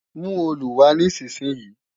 Mú òòlù wá nísinsìnyí!